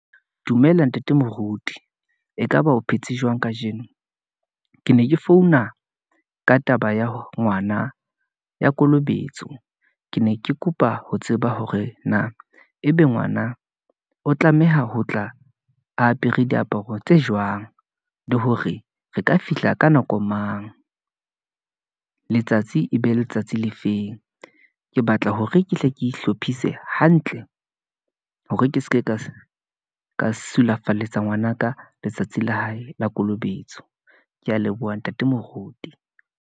Dumela ntate moruti, ekaba o phetse jwang kajeno, ke ne ke founa ka taba ya ngwana ya kolobetso, ke ne ke kopa ho tseba hore na ebe ngwana o tlameha ho tla apere diaparo tse jwang, le hore re ka fihla ka nako mang . Letsatsi e be letsatsi le feng, ke hore ke hle ke hlophise hantle, hore ke seke ka sulafaletse ngwanaka letsatsi la hae la kolobetso. Ke ya leboha ntate moruti.